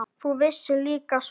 Þú vissir líka svo margt.